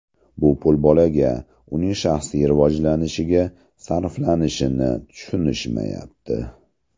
Bu pul bolaga, uning shaxsiy rivojlanishiga sarflanishini tushunishmayapti.